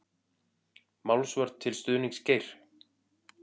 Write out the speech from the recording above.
Málsvörn til stuðnings Geir